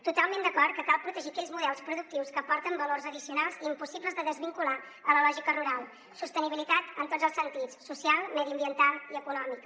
totalment d’acord que cal protegir aquells models productius que aporten valors addicionals i impossibles de desvincular de la lògica rural sostenibilitat en tots els sentits social mediambiental i econòmica